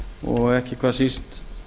og ekki hvað síst